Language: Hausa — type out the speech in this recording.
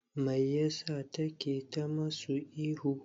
Mai ya sa take ta musu ihu?